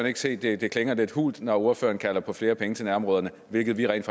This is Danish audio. ikke se det klinger lidt hult når ordføreren kalder på flere penge til nærområderne hvilket vi rent